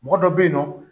Mɔgɔ dɔ bɛ yen nɔ